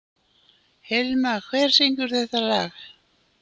Hilma, hver syngur þetta lag?